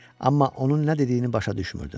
Amma onun nə dediyini başa düşmürdüm.